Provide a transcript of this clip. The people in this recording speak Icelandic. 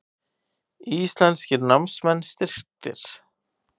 Íslenskir námsmenn styrktir